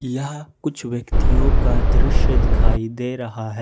यहां कुछ व्यक्तियों का दृश्य दिखाई दे रहा है।